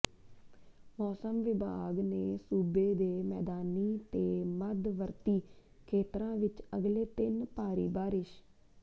ਮੌਸਮ ਵਿਭਾਗ ਨੇ ਸੂਬੇ ਦੇ ਮੈਦਾਨੀ ਤੇ ਮੱਧਵਰਤੀ ਖੇਤਰਾਂ ਵਿਚ ਅਗਲੇ ਤਿੰਨ ਭਾਰੀ ਬਾਰਿਸ਼